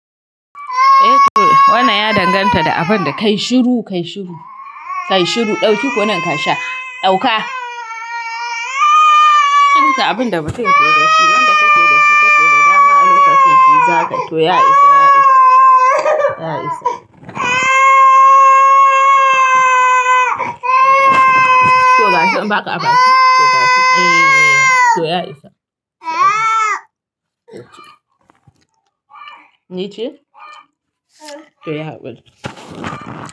Wannan ya danganta da abin da kai shiru, kai shiru. Kai shiru, dauki kunun ka sha. Dauka. Kyanta abin da mutum ke da shi wanda kake da shi kake da dama a lokacin shi zakai to ya isa. Ya isa, ya isa. Ya isa. To gashi in baka a baki to gashi eh to ya isa to ci nice to yi hakuri.